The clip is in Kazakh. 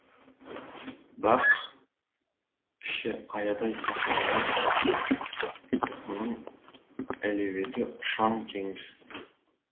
бақ іші аядай сахна емес мұның әлеуеті ұшан теңіз